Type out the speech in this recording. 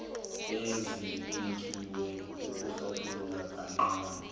ezibekiwe ukuhlathulula kancani